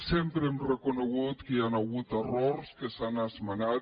sempre hem reconegut que hi han hagut errors que s’han esmenat